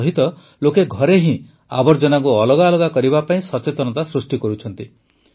ତାସହିତ ଲୋକେ ଘରେ ହିଁ ଆବର୍ଜନାକୁ ଅଲଗା ଅଲଗା କରିବା ପାଇଁ ସଚେତନତା ସୃଷ୍ଟି କରୁଛନ୍ତି